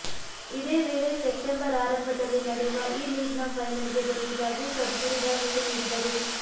ಇದೇ ವೇಳೆ ಸೆಪ್ಟೆಂಬರ್ ಆರಂಭದಲ್ಲಿ ನಡೆಯುವ ಈ ಲೀಗ್ನ ಫೈನಲ್ಗೆ ಬರುವುದಾಗಿ ಸದ್ಗುರು ಭರವಸೆ ನೀಡಿದರು